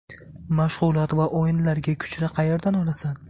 Mashg‘ulot va o‘yinlarga kuchni qayerdan olasan?